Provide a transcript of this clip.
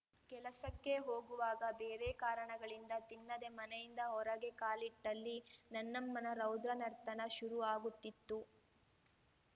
ಕೆಲಸಕ್ಕೆ ಹೋಗುವಾಗ ಬೇರೆ ಕಾರಣಗಳಿಂದ ತಿನ್ನದೆ ಮನೆಯಿಂದ ಹೊರಗೆ ಕಾಲಿಟ್ಟಲ್ಲಿ ನನ್ನಮ್ಮನ ರೌದ್ರನರ್ತನ ಶುರು ಆಗುತ್ತಿತ್ತು